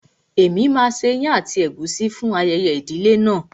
Èmi máa ṣe ìyàn àti ègúsí fún ayẹyẹ ìdílé náà.